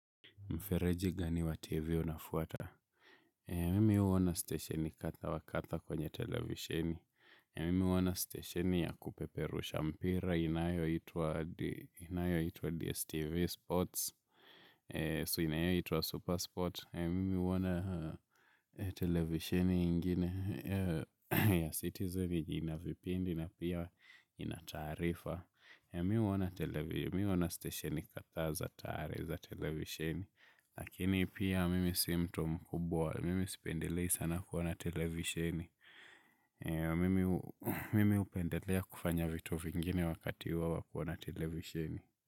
Mfereji gani wa TV unafuata? Mimi huona stesheni kadha wa kadha kwenye televisheni. Mimi huona steshini ya kupeperusha mpira inayoitwa DSTV Sports. So inayoitwa Super Sports. Mimi huona televisheni ingine ya citizen ina vipindi na pia ina taarifa. Mimi huona steshini kadhaa za tare za televisheni. Lakini pia mimi si mtu mkubwa, mimi sipendelei sana kuona televishini. Mimi hupendelea kufanya vitu vingine wakati huo wa kuona televisheni.